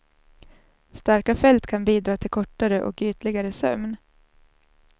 Starka fält kan bidra till kortare och ytligare sömn.